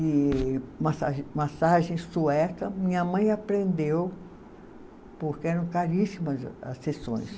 E massagem, massagem sueca, minha mãe aprendeu, porque eram caríssimas a as sessões. Sim